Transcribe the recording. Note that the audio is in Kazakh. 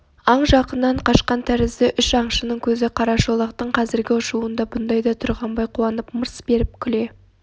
аң жақыннан қашқан тәрізді үш аңшының көзі қарашолақтың қазіргі ұшуында бұндайда тұрғанбай қуанып мырс беріп күле